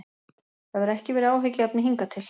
Það hefur ekki verið áhyggjuefni hingað til.